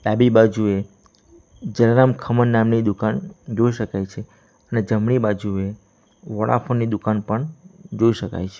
ડાબી બાજુએ જલારામ ખમણ નામની દુકાન જોઈ શકાય છે અને જમણી બાજુએ વોડાફોન ની દુકાન પણ જોઈ શકાય છે.